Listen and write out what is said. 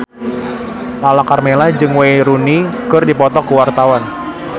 Lala Karmela jeung Wayne Rooney keur dipoto ku wartawan